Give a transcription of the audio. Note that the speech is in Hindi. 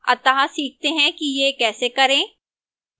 अतः सीखते हैं कि यह कैसे करें